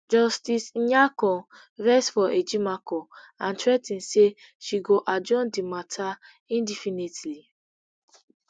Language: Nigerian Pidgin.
justice nyako vex for ejimakor and threa ten say she go adjourn di matter indefinitely